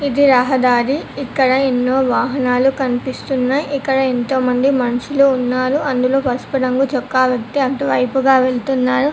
ఇది రహదారి ఇక్కడ ఎన్నో వాహనాలు కనిపిస్తున్నాయి ఇక్కడ ఎంతో మంది మనుషులు ఉన్నారు అందులో పసుపు రంగు చొక్కా వ్యక్తి అటువైపుగా వెళ్తున్నారు.